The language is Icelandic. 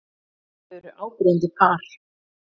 Þau eru áberandi par.